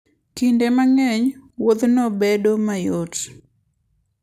Kinde mang'eny, wuodhno bedo mayot.